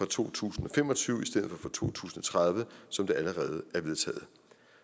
to tusind og fem og tyve i stedet for fra to tusind og tredive som det allerede er vedtaget